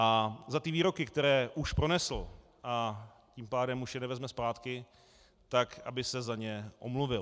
A za ty výroky, které už pronesl, a tím pádem už je nevezme zpátky, tak aby se za ně omluvil.